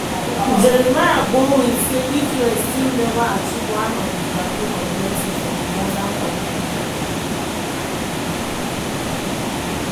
jeremy bowen say israel still neva achieve one of dia main objectives for di gaza campaign.